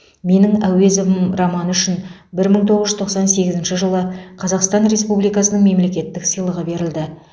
менің әуезовым романы үшін бір мың тоғыз жүз тоқсан сегізінші жылы қазақстан республикасының мемлекеттік сыйлығы берілді